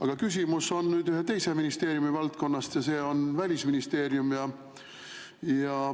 Ent küsimus on ühe teise ministeeriumi valdkonnast, ja see on Välisministeerium.